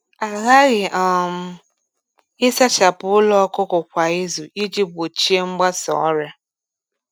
A ghaghị um ịsachapụ ụlọ ọkụkọ kwa izu iji gbochie mgbasa ọrịa.